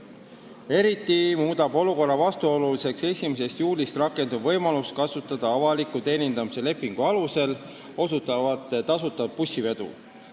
Eriti muudab olukorra vastuoluliseks 1. juulist rakenduv võimalus kasutada avaliku teenindamise lepingu alusel osutatavat tasuta bussivedu.